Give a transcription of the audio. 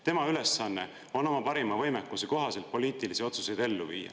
Tema ülesanne on oma parima võimekuse kohaselt poliitilisi otsuseid ellu viia.